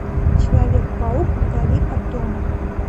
человек паук вдали от дома